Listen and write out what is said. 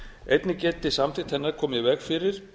einnig geti samþykkt hennar komið í veg fyrir